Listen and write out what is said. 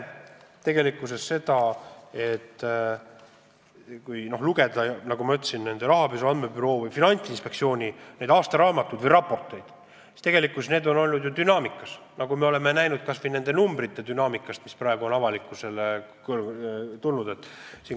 Kui lugeda rahapesu andmebüroo ja Finantsinspektsiooni aastaraamatuid või raporteid, siis näeme, et tegelikult on avalikkuse ette jõudnud numbrid dünaamiliselt muutunud.